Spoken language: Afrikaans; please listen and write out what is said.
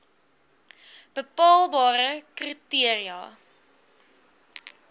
bepaalbare kri teria